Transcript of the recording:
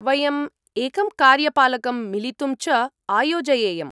वयम् एकं कार्यपालकं मिलितुम् च आयोजयेम।